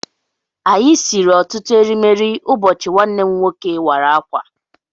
Anyị siri ọtụtụ erimeri ụbọchị nwanne m nwoke wara akwa